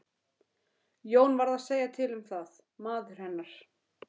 Jón varð að segja til um það, maður hennar.